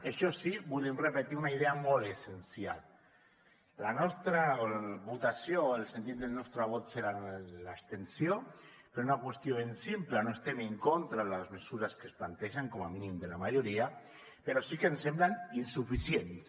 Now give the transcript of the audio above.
això sí volem repetir una idea molt essencial la nostra votació o el sentit del nostre vot serà l’abstenció per una qüestió ben simple no estem en contra de les mesures que es plantegen com a mínim de la majoria però sí que ens semblen insuficients